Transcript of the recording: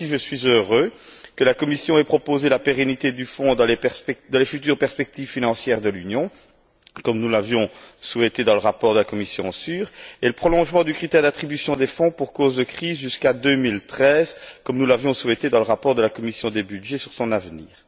Ainsi, je suis heureux que la Commission ait proposé la pérennité du Fonds dans les futures perspectives financières de l'Union, comme nous l'avions souhaité dans le rapport de la commission SURE, et le prolongement du critère d'attribution des fonds pour cause de crise jusqu'à 2013, comme nous l'avions souhaité dans le rapport de la commission des budgets sur son avenir.